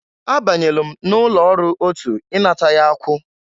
Abanyelu m n'ụlọ ọrụ otụ inata ya akwụ.